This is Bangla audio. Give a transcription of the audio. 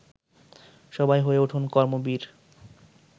সবাই হয়ে উঠুন কর্মবীর